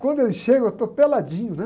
Quando ele chega, eu estou peladinho, né?